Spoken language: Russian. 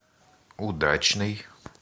удачный